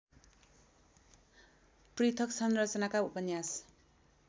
पृथक् संरचनाका उपन्यास